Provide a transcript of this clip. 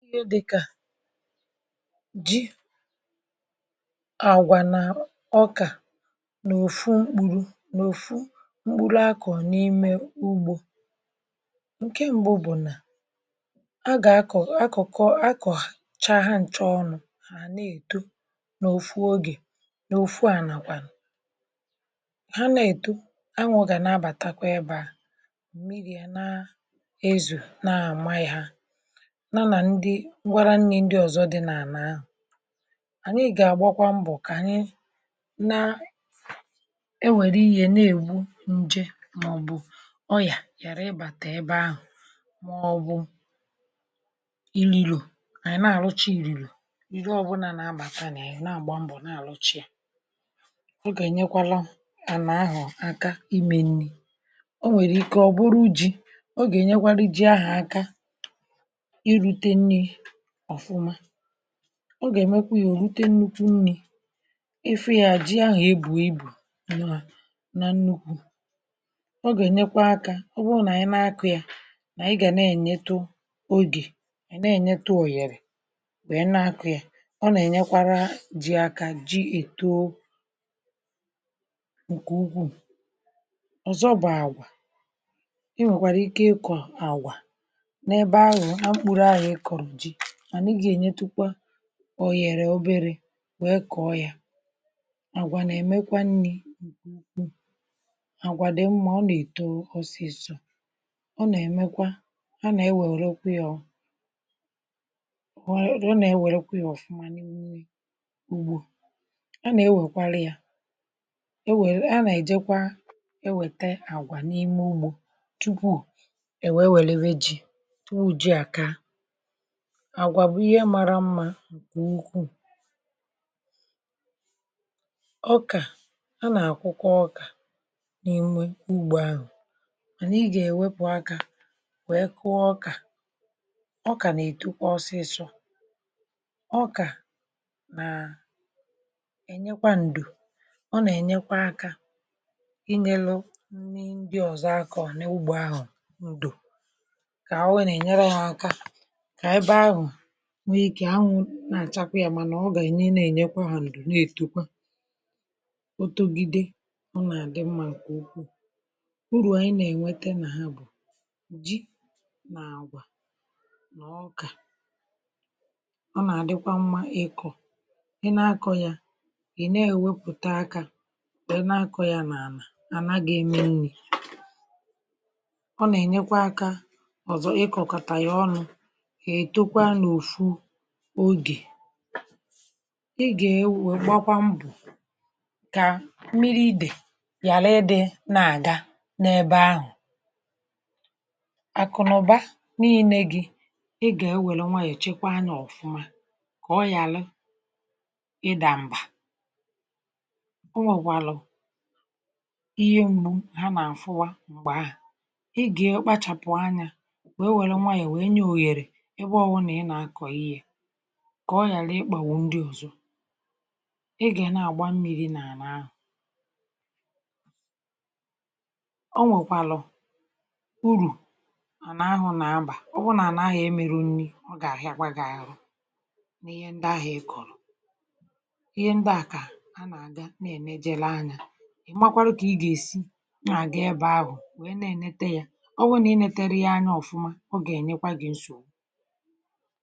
jí àgwà nà ọkà n’òfu mkpuru n’òfu mkpuru, akọ̀ n’ime ugbȯ ǹke m̀gbo bụ̀ nà agà àkọ̀, akọ̀kọ, akọ̀cha ha. nchọ ọnụ̇ hà nà-èto n’òfu ogè, n’òfu ànakwàlà ha nà-èto, anwụ̇gà nà-abàtakwa ebea mmiri̇ à, na ndị ọ̀zọ dị nà-àna ahụ̀. ànyị gà-àgbakwa mbọ̀ kà ànyị na enwèrè ihe na-ègbu nje, màọbụ̀ ọyà ghàra ibàtà ebe ahụ̀, màọbụ̀ ili lò. ànyị̀ na-àlụcha ìrìrì òbòla nà-abàtanì, ǹa-àgba mbọ̀, na-àlụchi à, ọ gà-ènyekwala ànà ahụ̀ àka imè nni̇. o nwèrè ike, ọ̀ bụrụ ji, o gà-ènyekwa ri ji ahụ̀ aka. ọ gà-èmekwa yȧ ò rute nnukwu nni̇, ịfụ yȧ jị ahụ̀ e bù ibù na nnukwu̇, ọ gà-ènyekwa akȧ. ọ bụrụ nà ànyị na-akụ̇ yà, nà ị gà na-ènye ogė, nà-ènyetu ọ̀yèrè, wee na-akụ̇ ya, ọ nà-ènyekwara jị aka ji ìto ǹkè ugwu̇. ọ̀zọ bụ̀ àgwà, i nwèkwàrà ike ịkọ̀ àgwà n’ebe ahụ̀ nà mkpụrụ ahịȧ. ịkọ̀rụ̀ jị, ọ yèrè oberė, wee kọ̀ọ yȧ. àgwà nà-èmekwa nni̇ nke ukwuù, àgwàde mmȧ, ọ nà-èto ọsịsọ̇, ọ nà-èmekwa, ọ nà-ewèrekwu̇ ya ọ̀fụma n’ugbȯ, ọ nà-ewèkwali yȧ. e wė, a nà-èjekwa ewète àgwà n’ime ugbȯ tupuù e wee wère, wee ji̇ tupu ji àka ǹkè ukwuù. ọkà a nà-àkwụkwa, ọkà n’inwe ugbò ahụ̀, ànyị gà-èwepù akȧ, wee kụọ ọkà. ọkà nà-ètukwa ọsịsọ̇, ọkà nà ènyekwa ǹdù, ọ nà-ènyekwa akȧ inyelu ndị ọ̀zọ akȧ, ọ̀ n’ugbò ahụ̀. ǹdù kà o wee nà-ènyere ahụ̀ akȧ, na-àchakwa yȧ, mànà ọ gà ẹ̀nyẹ, na-ènyekwa hȧ nụ̀rụ̀, na-ètekwa otogide. ọ nà-àdị mmȧ ǹkẹ̀ ukwuu, urù ànyị na-ẹ̀nwẹtẹ nà ha bù jì nà àgwà nà ọkà. ọ nà-àdịkwa mmȧ ịkọ̇, ị na-akọ̇ yȧ gị̀, na-ewepùta akȧ, bụ̀ ị na-akọ̇ yȧ nà ànà àna ga-ẹmẹ nrị̇. ọ nà-ènyekwa akȧ ọzọ, ịkọ̇ kà tànyẹ̀ ọnụ̇. igà-ewè gbakwa mbù kà mmiri idè ghàle ịdị̇, na-àga n’ebe ahụ̀. àkụ̀ nà ụba niilė gị, ị gà-ewèlè nwayọ̀, èchekwa anyȧ ọ̀fụma, kà ọ ghàle ịdàmbà. ǹkwọ nwèkwàlà ihe mmụ̇ ha nà àfụwa. m̀gbè ahụ̀, ị gà-ekpachàpụ̀ anya, wèe wèrè nwayọ̀, wèe nye òghèrè kà ọ yàlà ịkpà wụ̀ ndị ọ̀zọ. ị gà nà-àgba mmiri̇ nà àna ahụ̀, o nwèkwàlọ̀ urù ànà ahụ̀ nà abà. ọ bụ nà ànà ahụ̀ a meru nri̇, ọ gà-àrị agwaghịà ahụ̀. n’ihe ndị ahụ̀ ekọ̀lụ̀, ihe ndị à kà a nà-àga na-ème. jèle anyȧ, ị̀ gbakwara, kà ị gà-èsi na-àga ẹbẹ ahụ̀, wee na-enete yȧ. ọ wụ nà inetere ya anya ọ̀fụma, ọ gà-ènyekwa gị̀ nsò.